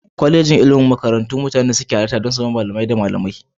Kwalejojin ilimi makarantu ne da mutane ke halarta waɗanda galibi suka zama malamai da malamai.